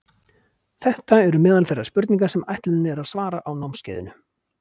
þetta eru meðal þeirra spurninga sem ætlunin er að svara á námskeiðinu